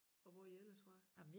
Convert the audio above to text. Og hvor I ellers fra?